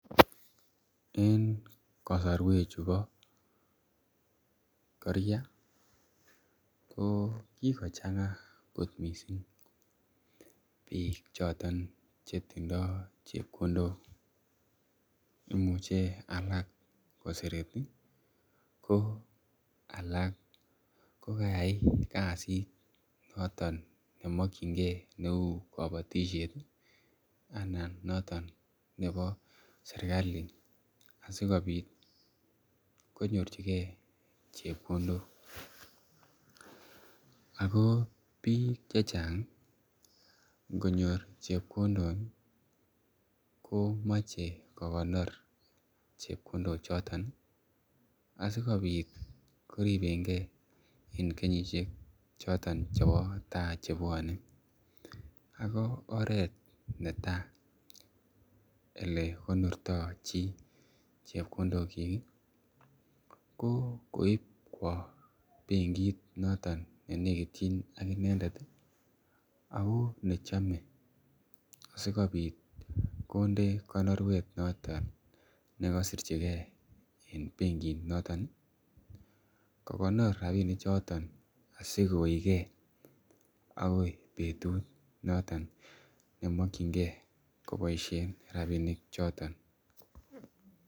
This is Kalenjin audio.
En kasari chubo koria ko kokochang'a kot missing, bik choton chetindo chebkondok imuche alake ko sereti ih , ko alak kokayai kasit noton nemakienge kouu kabatisiet ih anan noton nebo serkali asikonyor chike chebkondok ako bik chechang ih , ingonyor chebkondok ih , komache kokonor chebkondok choton ih , asikobit koribenge, en kenyisiek choton chebo tai chebuane. Ako oret netai ole konorta chi chebkondok chik ih ko koib kou bengiit noton nenekitien ak ak inendet ih ako nechame asikobit konde konoruet noton nekasirchike en benkit noton ih kokonaor rabinik choton asikoige agoi betut noton nemakienge kobaishien rabinik choton.